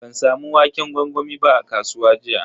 Ban samu waƙen gwangwami ba a kasuwa jiya.